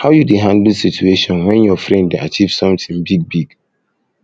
how you dey handle situation when your friend dey achieve something big big